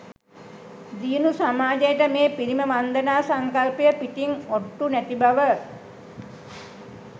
දියුණු සමාජයට මේ පිළිම වන්දනා සංකල්පය පිටින් ඔට්ටු නැති බව.